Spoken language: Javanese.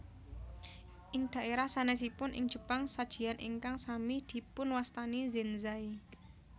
Ing dhaérah sanèsipun ing Jepang sajian ingkang sami dipunwastani zenzai